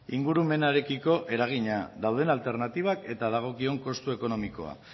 ingurumenarekiko eragina dauden alternatibak eta dagokion kostu ekonomikoa